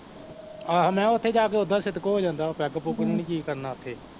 ਆਹੋ ਮੈਂ ਕਿਹਾ ਓਥੇ ਜਾਕੇ ਓਦਾ ਸਿਦਕ ਹੋ ਜਾਂਦਾ ਵਾਂ, ਪੈੱਗ ਪੁੱਗ ਨੂੰ ਨੀ ਜੀਅ ਕਰਨਾ ਓਥੇ